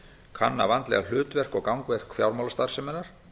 kanna vandlega hlutverk og gangverk fjármálastarfseminnar